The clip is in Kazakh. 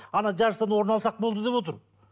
ана жарыстан орын алсақ болды деп отыр